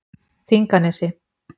Þinganesi